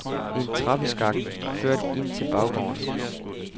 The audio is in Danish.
En trappeskakt førte ind til baggårdene.